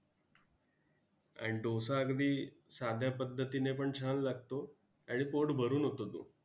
आणि डोसा अगदी साध्या पद्धतीने पण छान लागतो आणि पोट भरून होतो तो.